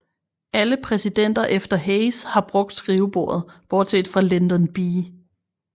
Alle præsidenter efter Hayes har brugt skrivebordet bortset fra Lyndon B